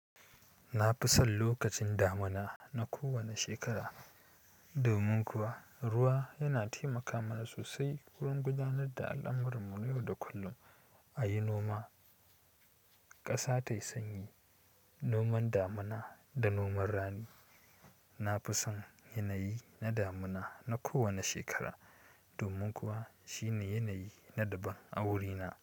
Na fi son lokacin damuna na kowane shekara, domin kuwa ruwa yana taimaka mana sosai wurin gudanar da al'amuranmu yau da kullum a yi noma. Ƙasa tayi sanyi, noman damuna da noman rani. Nafi son yanayi na damuna na kowane shekara domin kuwa shine yanayi na daban a wurina.